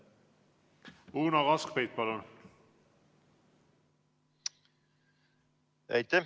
Uno Kaskpeit, palun!